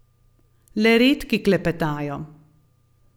Le redki klepetajo.